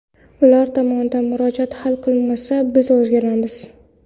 Ular tomonidan murojaat hal qilinmasa biz o‘rganamiz.